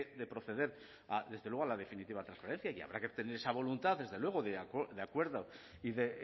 de proceder desde luego a la definitiva transparencia y habrá que tener esa voluntad de acuerdo y de